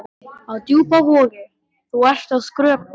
Á Djúpavogi, þú ert að skrökva